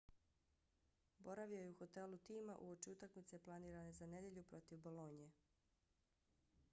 boravio je u hotelu tima uoči utakmice planirane za nedjelju protiv bolonje